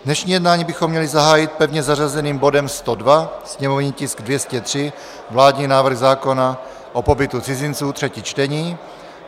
Dnešní jednání bychom měli zahájit pevně zařazeným bodem 102, sněmovní tisk 203, vládní návrh zákona o pobytu cizinců, třetí čtení.